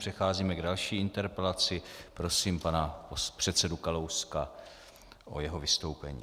Přecházíme k další interpelaci, prosím pana předsedu Kalouska o jeho vystoupení.